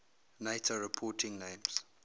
nato reporting names